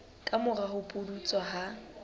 ka mora ho pudutsa ha